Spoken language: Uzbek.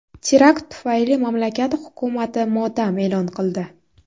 Terakt tufayli mamlakat hukumati motam e’lon qildi.